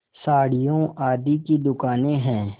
साड़ियों आदि की दुकानें हैं